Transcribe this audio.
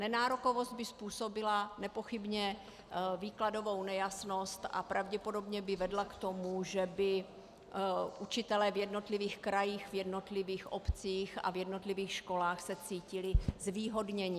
Nenárokovost by způsobila nepochybně výkladovou nejasnost a pravděpodobně by vedla k tomu, že by učitelé v jednotlivých krajích, v jednotlivých obcích a v jednotlivých školách se cítili zvýhodněni.